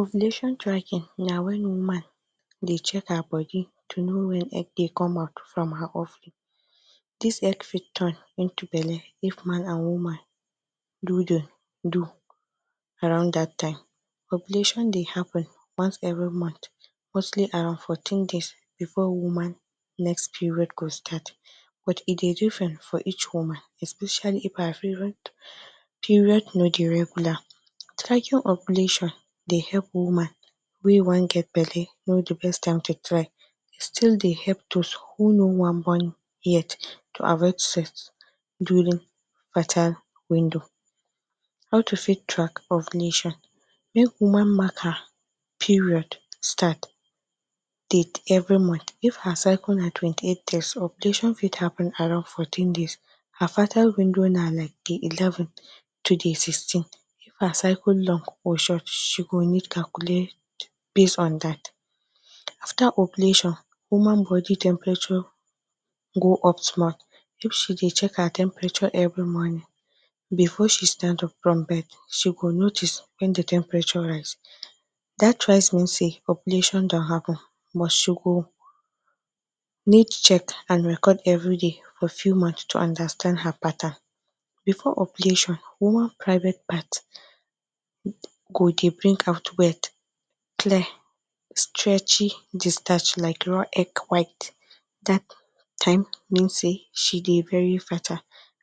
Ovulation tracking na wen woman dey check her body to know wen egg dey come out from her ovary dis egg fit turn into belle if man and woman do d do around dat time, ovulation dey happen once every month mostly about fourteen days before woman next period go start but e dey different for each woman especially if her period no dey regular, tracking ovulation dey help woman wey wan get belle no d beat time to try e still dey help those who no wan born yet to avoid sex during fertile window. How to fit track ovulation, make woman mark her period start date every month if her circle na twenty-eight days her ovulation fit happen around fourteen days her fertile window na like day eleven to day sixteen if her circle long or short she go need calculate base on dat after ovulation, woman bodi temperature go up small if she dey check her temperature every morning before she stand up from bed she go notice wen d temperature rise, dat rise mean say ovulation don happen but she go need check and record every day to understand her pattern before ovulation, woman private part go dey bring out wet clear stretchy discharge like raw egg white dat time mean say she Dey very fertile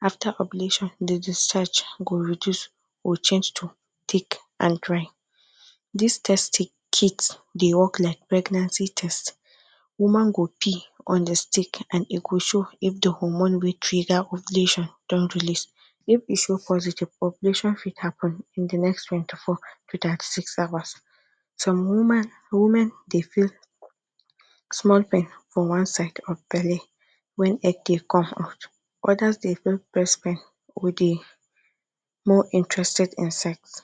after ovulation d discharge go reduce or change to thick and dry dis test kit dey work like pregnancy test woman go and e go show if de hormone wey trigger ovulation don release if e show positive ovulation fit happen in the next twenty-four to thirty-six hours. Some women dey feel small pain for one side of belle wen egg dey come out others dey feel breast pain or dey more interested in sex,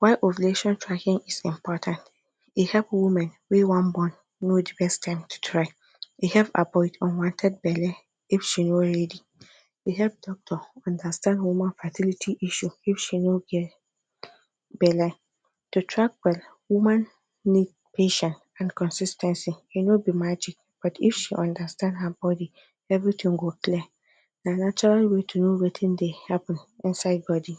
why ovulation tracking is important e help women wey wan born know the best time to try e help avoid unwanted belle if she no readi if doctor understand woman facility issue if she no get belle to track well woman need patience and consis ten cy e no be magic but she understand her bodi everything go clear, na natural way to know Wetin dey happen inside bodi.